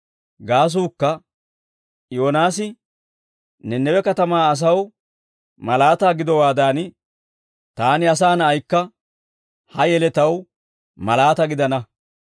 Gaasuukka Yoonaasi Nanawe katamaa asaw malaataa gidowaadan, Taani, Asaa Na'aykka, ha yeletaw malaataa gidana.